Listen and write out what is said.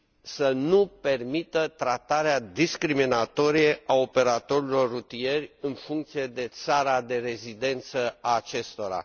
să nu permită tratarea discriminatorie a operatorilor rutieri, în funcție de țara de rezidență a acestora.